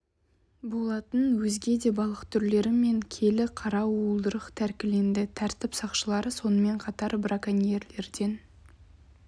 болатын өзге да балық түрлері мен келі қара уылдырық тәркіленді тәртіп сақшылары сонымен қатар браконьерлерден